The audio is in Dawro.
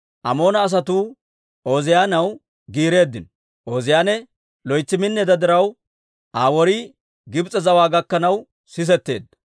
Amoona asatuu Ooziyaanaw giireeddino. Ooziyaane loytsi minneedda diraw, Aa worii Gibs'e zawaa gakkanaw sisetteedda.